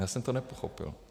Já jsem to nepochopil.